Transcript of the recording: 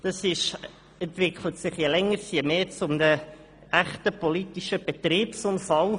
Das entwickelt sich je länger je mehr zu einem echten politischen Betriebsunfall.